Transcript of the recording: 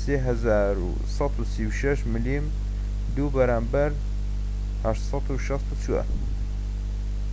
3136 ملم2 بەرامبەر 864